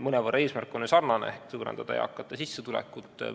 Mõnevõrra on eesmärk ju sarnane – suurendada eakate sissetulekut.